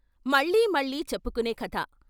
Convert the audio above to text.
మళ్లీ మళ్లీ చెప్పుకునే కథ